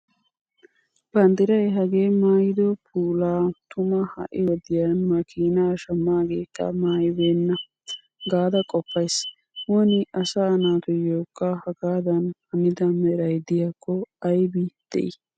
Banddiray hagee maayido puulaa tuma ha'i wodiyan makiinaa shammaageekka maayibeenna gaada qoppays. Woni asaa naatuyyokka hagaadan hanida meray diyaakko aybi de'i.